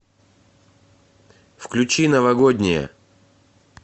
включи новогодняя